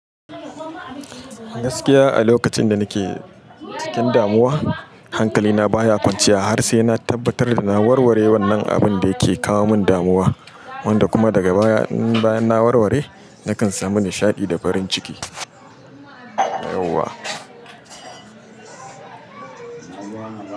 Gaskiya a lokacin da nike cikin damuwa hankali na baya kwanciya har sai na tabbatar da na warware wannan abinda yake kawo min damuwa, wanda kuma daga baya in bayan na warware nakan samu nishaɗi da farin ciki.